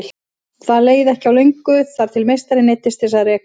Það leið því ekki á löngu þar til meistarinn neyddist til að reka Lúlla.